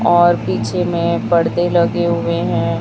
और पीछे में परदे लगे हुए हैं।